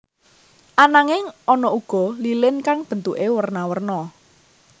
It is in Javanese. Ananging ana uga lilin kang bentuké werna werna